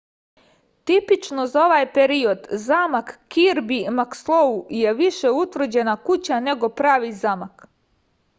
tipično za ovaj period zamak kirbi makslou je više utvrđena kuća nego pravi zamak